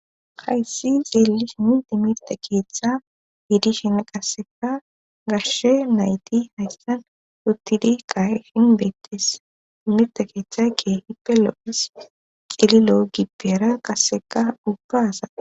Hayssi xeellish minti mirte keeththa hiidishenne qasseka garshe nayti haystan huttidi ka7e hinbeettes imirte keeththakke hipe lo7es qililo7o gibbera qasseka ubbaasa